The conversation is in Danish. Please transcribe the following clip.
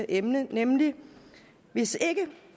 emne nemlig at hvis ikke